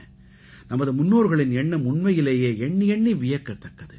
நமது முன்னோர்களின் எண்ணம் உண்மையிலேயே எண்ணி எண்ணி வியக்கத் தக்கது